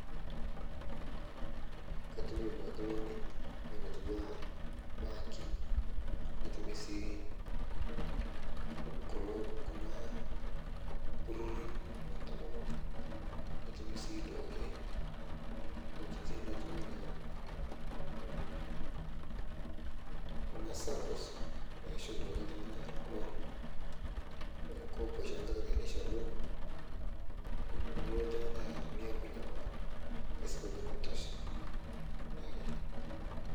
Kotumi duake looni teng'oji natua banki nitumie sii kulo kuna ltururi lontomonok nitumie sii duake ng'ojitin natuwana kuna saccos naishoo duake ltungana loon kepuo duake neishoru loon nilo ltungani ayeu niayapunye koon nisip ajo kintosha naake.